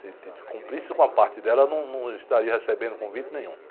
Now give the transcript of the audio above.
Se, se cumprisse com a parte dela, eu não, num, não estaria recebendo convite nenhum.